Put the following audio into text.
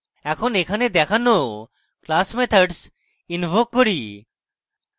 এখন এখানে দেখানো class methods invoke করি